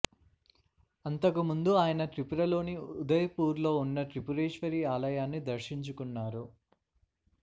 అంతకు ముందు ఆయన త్రిపురలోని ఉదయ్పూర్లో ఉన్న త్రిపురేశ్వరి ఆలయాన్ని దర్శించుకున్నారు